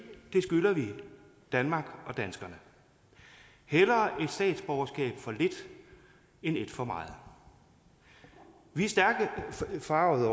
skylder vi danmark og danskerne hellere statsborgerskab for lidt end et for meget vi er stærkt forargede